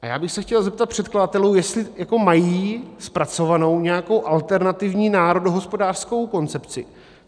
A já bych se chtěl zeptat předkladatelů, jestli mají zpracovanou nějakou alternativní národohospodářskou koncepci.